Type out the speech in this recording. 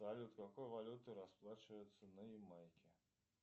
салют какой валютой расплачиваются на ямайке